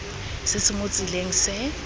se se mo tseleng se